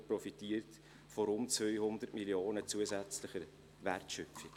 Er profitiert von rund 200 Mio. Franken zusätzlicher Wertschöpfung.